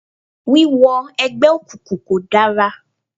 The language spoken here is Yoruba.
Wíwọ ẹgbẹ́ òkùnkùn kò dára